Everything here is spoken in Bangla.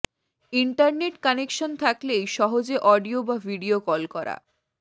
ইন্টারনেট কানেকশন থাকলেই সহজেই অডিও বা ভিডিও কল করা